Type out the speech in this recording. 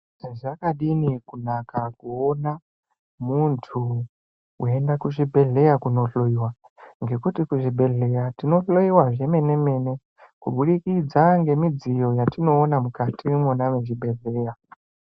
Zvakadininkunaka kuona muntu weienda kuzvibhedhleya kunohloiwa, ngekuti kuzvibhedhleya tinohloiwa zvemene-mene, kubudikidza ngemidziyo yatinoona mukati mwona mwechibhedhleya.